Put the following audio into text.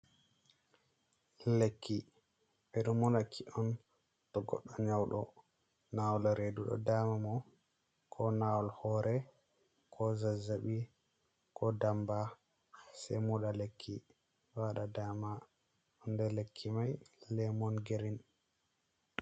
Lekki bedo monaki on to goddo nyaudo nawal redu do dama mo ko nawal hore ko zazabi ko damba, se moda lekki wada dama on de lekki mai lemon girin.